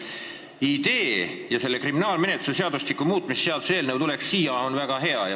Idee tuua siia see kriminaalmenetluse seadustiku muutmise seaduse eelnõu on väga hea.